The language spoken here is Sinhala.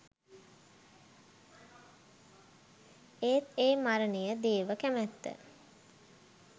ඒත් ඒ මරණය දේව කැමත්ත